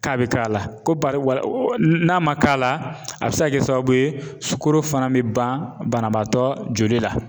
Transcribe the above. K'a bɛ k'a la, ko n'a ma k'a la, a bɛ se ka kɛ sababu ye sukoro fana bɛ ban banabaatɔ joli la .